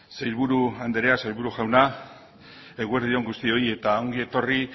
sailburu anderea sailburu jauna eguerdi on guztioi eta ongi etorri